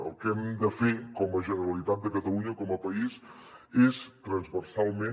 el que hem de fer com a generalitat de catalunya com a país és transversalment